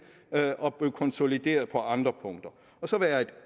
og blive konsolideret på andre punkter og så være et